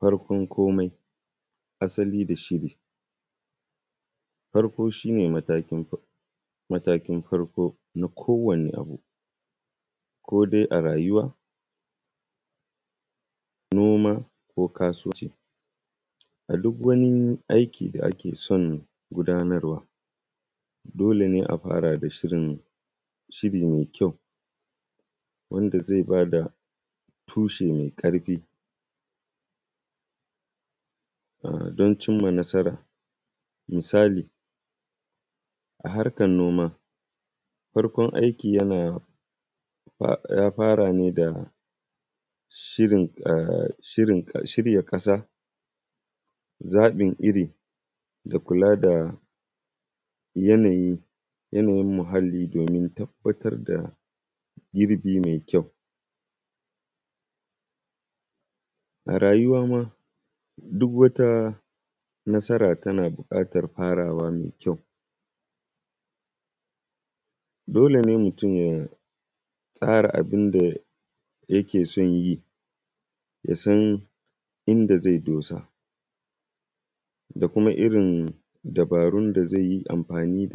Farkon komai, asali da shiri. Farko shi ne matakin farko na kowane abu kodai a rayuwa, noma, ko kasuwanci. A duk wani aiki da ake son gudanarwa dole ne a fara da shirri mai kyau, wanda zai bad a tushe mai ƙarfin don cin ma nasara. Misali a harkan noma, farkon aiki yana ya fara ne da shirya ƙasa, zaɓin iri, da kula da yanayin muhalli domin tabbatar da girbi mai kyau. A rayuwa ma duk wata nasara tana buƙatar farawa mai kyau, dole ne mutun ya tsara abun da yake son yi, ya san inda zai dosa da kuma irin dabarun da zai yi amfani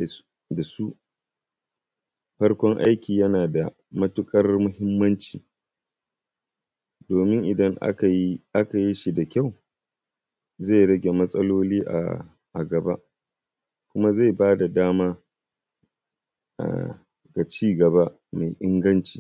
su. Farkon aiki yana da matuƙar muhimmanci domin idan aka yi da kyau zai rage matsaloli a gaba. Kuma zai ba da dama ga cigaba mai inganci.